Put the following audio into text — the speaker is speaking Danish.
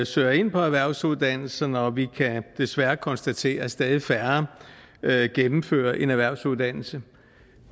søger ind på erhvervsuddannelserne og vi kan desværre konstatere at stadig færre gennemfører en erhvervsuddannelse